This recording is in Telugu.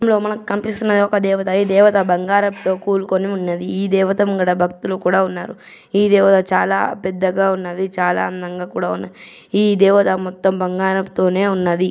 ఇగో మనకు కనిపిస్తున్నది ఒక దేవత ఈ దేవత బంగారంతో కూలుకొని ఉంది. ఈ దేవత ముందట భక్తులు కూడా ఉన్నారు.ఈ దేవత చాలా పెద్దగా ఉన్నది. చాలా అందంగా కూడా ఉంది. ఈ దేవత మొత్తం బంగారం తోనే ఉన్నది.